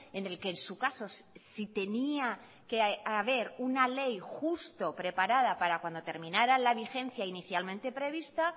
en el que en su caso si tenía que haber una ley justo preparada para cuando terminara la vigencia inicialmente prevista